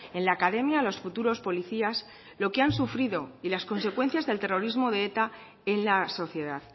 en la academia a los futuros policías lo que han sufrido y las consecuencias del terrorismo de eta en la sociedad